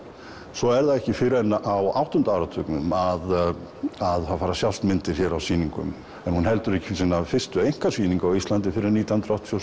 svo er það ekki fyrr en á áttunda áratugnum að það fara að sjást myndir hér á sýningum en hún heldur ekki sína fyrstu einkasýningu á Íslandi fyrr en nítján hundruð áttatíu